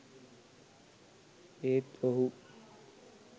ඒත් ඔහු